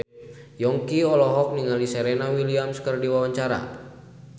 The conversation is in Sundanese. Yongki olohok ningali Serena Williams keur diwawancara